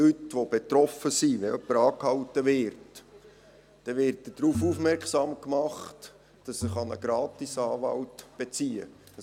Die betroffenen Leute, also beispielsweise jemand, der angehalten wird, werden darauf aufmerksam gemacht, dass sie einen GratisAnwalt beziehen können.